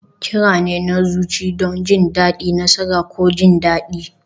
Kira ne na zuci don jin daɗi, nasara, ko jin daɗi.